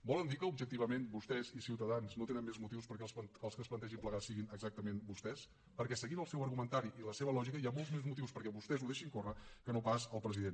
volen dir que objectivament vostès i ciutadans no tenen més motius perquè els que es plantegin plegar siguin exactament vostès perquè seguint el seu argumentari i la seva lògica hi ha molts més motius perquè vostès ho deixin córrer que no pas el president